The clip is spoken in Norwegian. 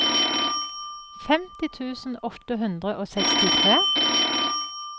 femti tusen åtte hundre og sekstitre